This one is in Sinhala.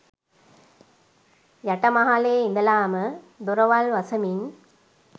යට මහලේ ඉඳලාම දොරවල් වසමින්